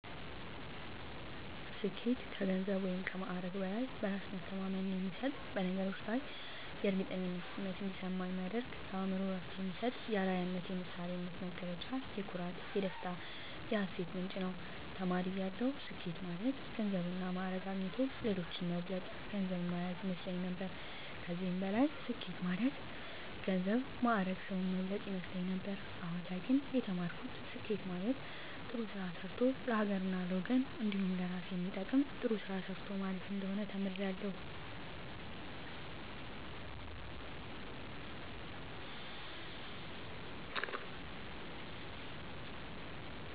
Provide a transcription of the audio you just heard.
ስኬት ከገንዘብ ወይም ከማዕረግ በላይ በእራስ መተማመን የሚሰጥ በነገሮች ላይ የእርግጠኝነት ስሜት እንዲሰማ የሚያደርግ ለአእምሮ እረፍት የሚሰጥ የአረያነት የምሳሌነት መገለጫ የኩራት የደስታ የሀሴት ምንጭ ነዉ። ተማሪ እያለሁ ስኬት ማለት ገንዘብና ማእረግ አግኝቶ ሌሎችን መብለጥ ገንዘብ ማያዝ ይመስለኝ ነበር ከዚህም በላይ ስኬት ማለት ገንዘብ ማእረግ ሰዉን መብለጥ ይመስለኝ ነበር አሁን ላይ ግን የተማርኩት ስኬት ማለት ጥሩ ስራ ሰርቶ ለሀገርና ለወገን እንዲሁም ለእራስ የሚጠቅም ጥሩ ነገር ሰርቶ ማለፍ እንደሆነ ተምሬያለሁ።